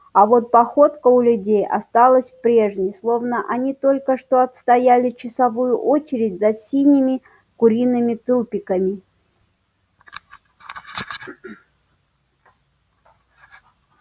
а вот походка у людей осталась прежней словно они только что отстояли часовую очередь за синими куриными трупиками